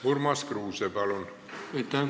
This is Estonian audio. Urmas Kruuse, palun!